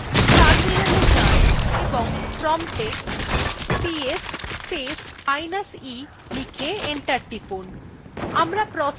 terminal এ যান এবং promptএ ps space minus e লিখে enter টিপুন